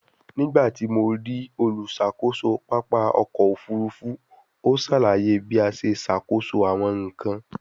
Nigbati mo rii oluṣakoso papa ọkọ ofurufu, o salaye bi a ṣe ṣakoso awọn nkan